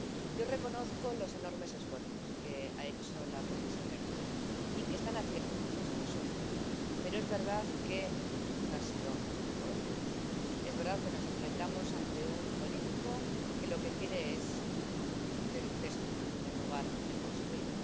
Yo reconozco los enormes esfuerzos que ha hecho la Comisión Europea y que están haciendo nuestros socios, pero es verdad que no han sido prósperos. Es verdad que nos enfrentamos con un político que lo que quiere es destruir en lugar de construir.